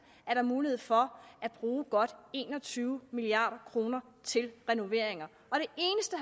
være mulighed for at bruge godt en og tyve milliard kroner til renoveringer